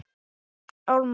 Ég er í sveit á bænum þarna,